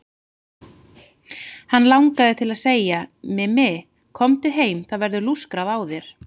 Hann langaði til að segja: Mimi, komdu heim, það verður lúskrað á þér.